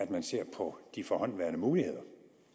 man ser på de forhåndenværende muligheder